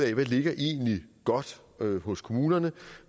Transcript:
det hvad ligger egentlig godt hos kommunerne